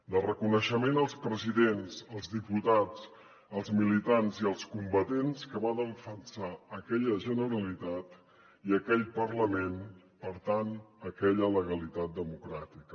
de reconeixement als presidents als diputats als militants i als combatents que van defensar aquella generalitat i aquell parlament per tant aquella legalitat democràtica